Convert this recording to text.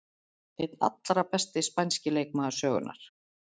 Einn allra besti spænski leikmaður sögunnar.